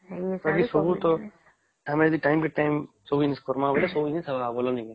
ବାକି ସବୁ ଟା ଆମେ ଯଦି ଟାଇମ ରେ ଟାଇମ ସବୁ ଜିନଷ ରେ କରିବା ବୋଲେ ସବୁ ଜିନିଷ ହେବ ନାଇଁ କି